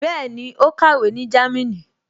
Bẹ́ẹ̀ni, ó kàwé ní Jámínì